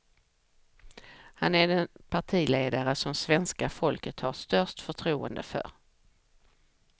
Han är den partiledare som svenska folket har störst förtroende för.